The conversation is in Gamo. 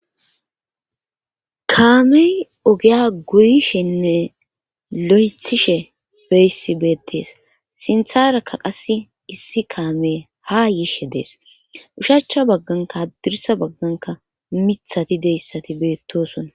Kaamey ogiya guyishenne lo'ethishe beyssi beettees sintharakka qass issi kaamey ha yishe dees ushachcha bagganka addirsa bagganka mithati deyssati beettosona.